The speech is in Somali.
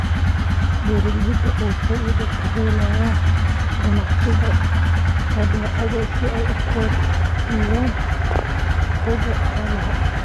Beeralayda oo faa'iido ka helaya ka ganacsiga badeecadaha si ay u kordhiyaan xoogga xoolaha.